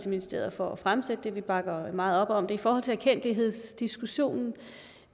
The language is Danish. og ministeriet for at fremsætte det vi bakker meget op om det i forhold til erkendtlighedsdiskussionen